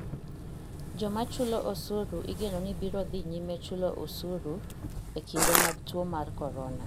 Joma chulo osuru igeno ni biro dhi nyime chulo osuru e kinde mag tuo mar corona.